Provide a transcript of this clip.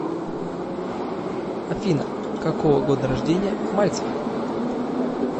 афина какого года рождения мальцев